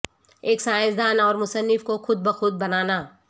ایک سائنس دان اور مصنف کو خود بخود بنانا